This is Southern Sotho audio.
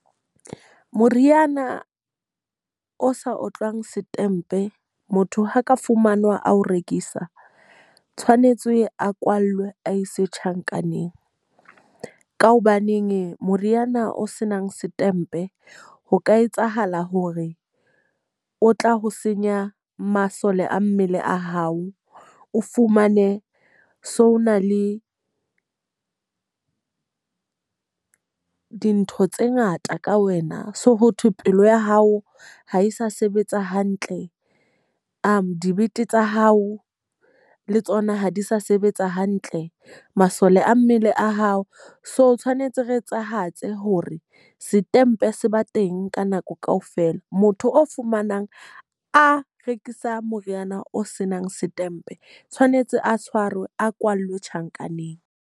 Moriana o sa otlwang setempe motho ha ka fumanwa a ho rekisa, tshwanetse a kwallwe a e se tjhankaneng. Ka hobaneng moriana o senang setempe ho ka etsahala hore o tla ho senya masole a mmele a hao. O fumane so ho na le dintho tse ngata ka wena. So ho thwe pelo ya hao ha e sa sebetsa hantle, dibete tsa hao le tsona ha di sa sebetsa hantle, masole a mmele a hao so tshwanetse re etsahatseng hore setempe se ba teng ka nako ka ofela. Motho o fumanang a rekisa moriana o senang setempe tshwanetse a tshwarwe, a kwalwe tjhankaneng.